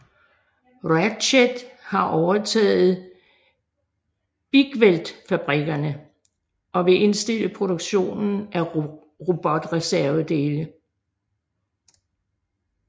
Ratchet har overtaget Bigweld Fabrikkerne og vil indstille produktionen af robotreservedele